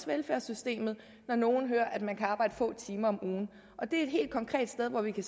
velfærdssystemet når nogen hører at man kan arbejde få timer om ugen det er et helt konkret sted hvor vi kan